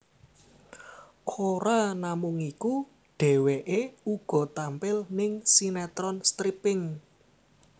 Ora namung iku dheweké uga tampil ning sinetron stripping